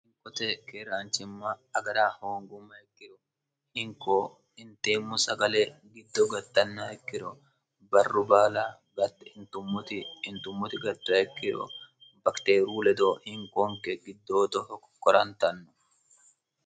hinkote keeraanchimma agara hoongumma ikkiro hinko inteemmo sagale giddo gattanna hikkiro barru baala gio itummoti gatra hikkiro bakiteeru ledoo hinkoonke giddootoho kokkorantanno